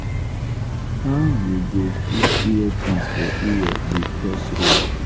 how you go put earpiece for ear dey cross road?